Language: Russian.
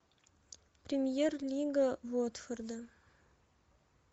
премьер лига уотфорда